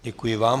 Děkuji vám.